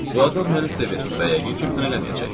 Bu adam məni sevir və yəqin ki, imtina eləməyəcək.